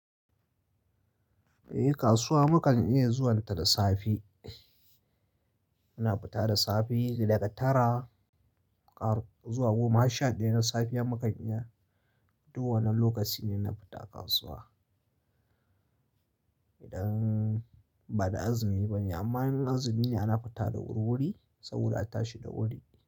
Eh kasuwa mukan iya zuwanta da safe. Muna fita da safe daga tara har zuwa goma har shaɗaya na safiya. Mukan iya, duk wannan lokaci ne na fita kasuwa idan ba da azumi ba ne. Amma in azumi ne ana fita da wurwuri saboda a tashi da wuri.